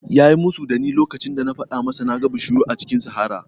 Ya yi musu da ni lokacin da na faɗa masa na ga bishiyu a cikin sahara